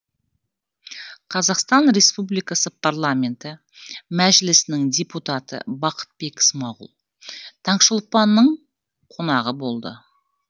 қазақстан республикасы парламенті мәжілісінің депутаты бақытбек смағұл таңшолпанның қонағы болды